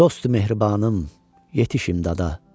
Dostum Mehribanım, yetiş imdada.